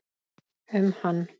um hann.